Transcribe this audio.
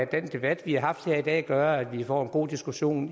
debat vi har haft her i dag gør at vi får en god diskussion